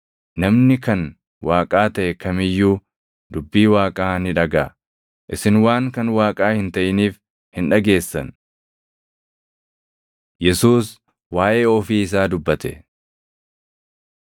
Namni kan Waaqaa taʼe kam iyyuu dubbii Waaqaa ni dhagaʼa. Isin waan kan Waaqaa hin taʼiniif hin dhageessan.” Yesuus Waaʼee Ofii Isaa Dubbate